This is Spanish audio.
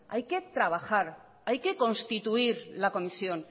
hay que trabajar hay que constituir la comisión